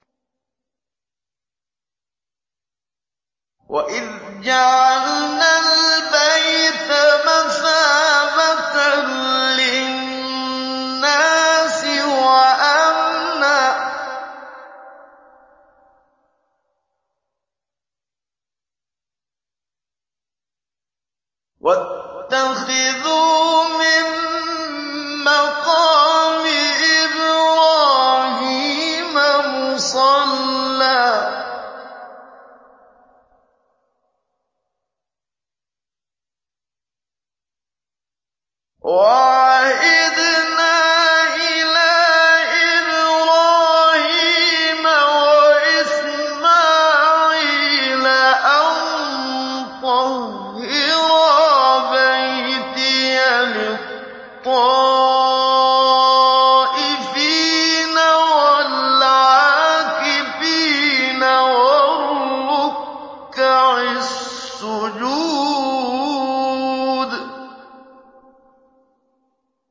وَإِذْ جَعَلْنَا الْبَيْتَ مَثَابَةً لِّلنَّاسِ وَأَمْنًا وَاتَّخِذُوا مِن مَّقَامِ إِبْرَاهِيمَ مُصَلًّى ۖ وَعَهِدْنَا إِلَىٰ إِبْرَاهِيمَ وَإِسْمَاعِيلَ أَن طَهِّرَا بَيْتِيَ لِلطَّائِفِينَ وَالْعَاكِفِينَ وَالرُّكَّعِ السُّجُودِ